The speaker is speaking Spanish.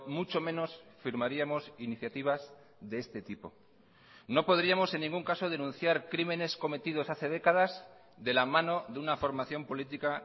mucho menos firmaríamos iniciativas de este tipo no podríamos en ningún caso denunciar crímenes cometidos hace décadas de la mano de una formación política